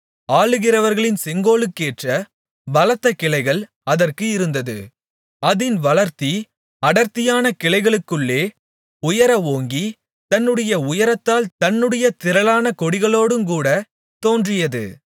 ஆளுகிறவர்களின் செங்கோலுக்கேற்ற பலத்தகிளைகள் அதற்கு இருந்தது அதின் வளர்த்தி அடர்த்தியான கிளைகளுக்குள்ளே உயர ஓங்கி தன்னுடைய உயரத்தால் தன்னுடைய திரளான கொடிகளோடுங்கூடத் தோன்றியது